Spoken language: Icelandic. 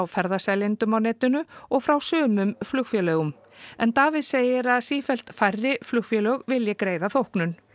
ferðaseljendum á netinu og frá sumum flugfélögum en Davíð segir að sífellt færri flugfélög vilji greiða þóknun